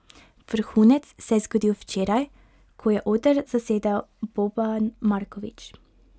Vrhunec se je zgodil včeraj, ko je oder zasedel Boban Marković.